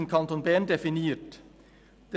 ] definiert […].